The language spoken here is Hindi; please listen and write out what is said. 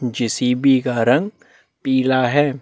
जे.सी.बी का रंग पीला है।